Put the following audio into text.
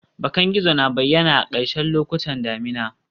Bakan gizo na bayyana a ƙarshen lokutan damina